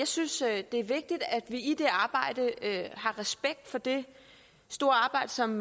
synes at det er vigtigt at vi i det arbejde har respekt for det store arbejde som